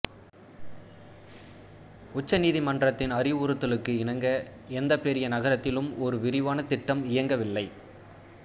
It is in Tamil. உச்ச நீதிமன்றத்தின் அறிவுறுத்தலுக்கு இணங்க எந்த பெரிய நகரத்திலும் ஒரு விரிவான திட்டம் இயங்கவில்லை